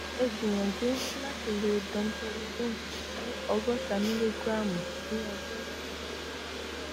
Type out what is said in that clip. ẹ gbìyànjú láti lo domperidone ní ògọta mílígíráàmù ní ọjọ kan